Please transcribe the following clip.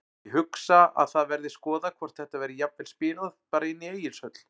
Ég hugsa að það verði skoðað hvort þetta verði jafnvel spilað bara inni í Egilshöll.